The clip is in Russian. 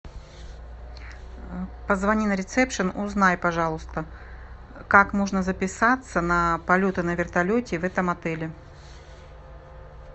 позвони на ресепшен узнай пожалуйста как можно записаться на полеты на вертолете в этом отеле